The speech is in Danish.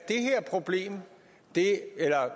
det